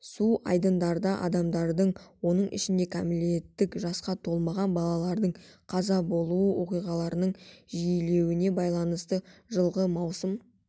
су айдындарда адамдардың оның ішінде кәмелеттік жасқа толмаған балалардың қаза болуы оқиғаларының жиілеуіне байланысты жылғы маусым